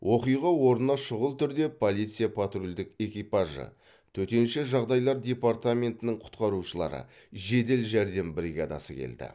оқиға орнына шүғыл түрде полиция патрульдік экипажы төтенше жағдайлар департаментінің құтқарушылары жедел жәрдем бригадасы келді